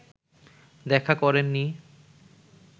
দেখা করেননি